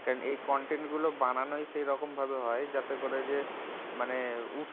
কেন এই content গুলো বানানোই সেইরকম ভাবে হয় যাতে করে যে মানে